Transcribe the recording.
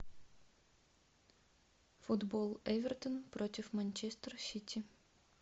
футбол эвертон против манчестер сити